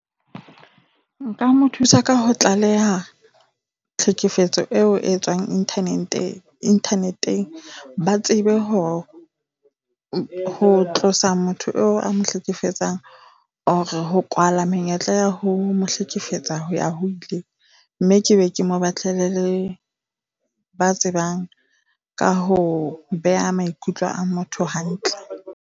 Nka mo thusa ka ho tlaleha tlhekefetso eo e tswang internet-eng. Ba tsebe ho ho tlosa motho oo a mo hlekefetsang, or-e ho kwala menyetla ya ho mo hlekefetsa ho ya ho ile, mme ke be ke mo batlele le ba tsebang ka ho beha maikutlo a motho hantle.